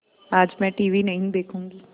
आज मैं टीवी नहीं देखूँगी